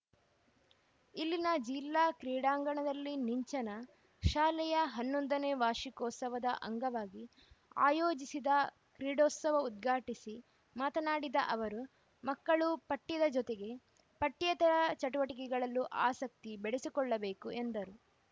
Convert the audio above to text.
ಇಲ್ಲಿನ ಜಿಲ್ಲಾ ಕ್ರೀಡಾಂಗಣದಲ್ಲಿ ನಿಂಚನಾ ಶಾಲೆಯ ಹನ್ನೊಂದನೇ ವಾರ್ಷಿಕೋತ್ಸವದ ಅಂಗವಾಗಿ ಆಯೋಜಿಸಿದ ಕ್ರೀಡೋತ್ಸವ ಉದ್ಘಾಟಿಸಿ ಮಾತನಾಡಿದ ಅವರು ಮಕ್ಕಳು ಪಠ್ಯದ ಜೊತೆಗೆ ಪಠ್ಯೇತರ ಚಟುವಟಿಕೆಗಳಲ್ಲೂ ಆಸಕ್ತಿ ಬೆಳೆಸಿಕೊಳ್ಳಬೇಕು ಎಂದರು